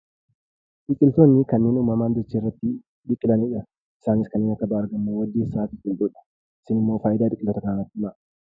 Biqiltootni kanneen uumamaan dacheerratti biqilanidha. Isaanis: kanneen akka baargamoo, waaddeessa tokkodha. Isiin immoo faayidaa biqiloota kana natti himaa?